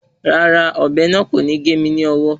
Rárá, ọ̀bẹ náà kò ní gé mi lọ́wọ́